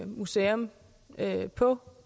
museum på